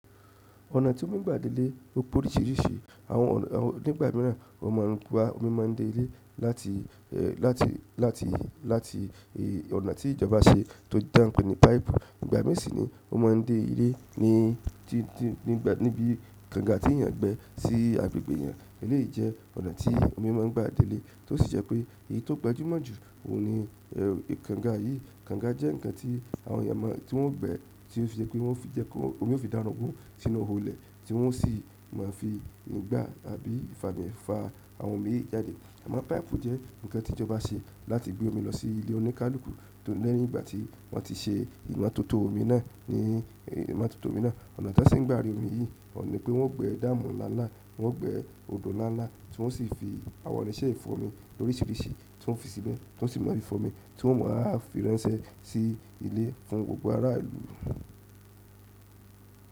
Ọ̀nà tí omi ń gbà dé ilé ó pé oríṣiríṣi. Àwọn nígbà míràn omi máa ń dé ilé láti, láti, láti, láti ọ̀nà tí ìjọba ṣe tó jẹ́ tan pé ní páìpù. Ìgbà mii si ni, o maa n de ile ni ibi kanga ti eyan gbẹ si agbègbè eyan. Eleyi jẹ ọ̀nà ti omi maa n gba de ile tosi jẹ pe eleyi to gbajumo ju oun nii kanga yìí. Káǹgà jẹ́ nǹkan tí àwọn èèyàn máa tí wọ́n gbẹ́ tí ó fi jẹ́ pé wọ́n fi jẹ́ kí omi ó fi darogún sínú iho ilẹ tí wọ́n sì máa ń fi nígbà àbí ìfami fa àwọn omi yìí jáde. Amọ paaipu jẹ nkan ti ìjọba se láti gbe omi lọ si ile onikaluku lẹ́yìn ìgbà ti wonti se imọtoto omi náà. Ọ̀nà tí wọ́n ṣi ń gbà ri omi yìí ò ní pé wọ́n gbẹ́ damu láńlá, wọ́n gbẹ́ odò nláńlá tí wọ́n sì fi àwọn irinṣẹ́ ìfọ̀mi oríṣiríṣi tí wọ́n fi síbẹ̀ tí wọ́n sì máa ń fi fọ́mi tí wọ́n wáa ń fi ránṣẹ́ sí ilé fún gbogbo ará ìlú.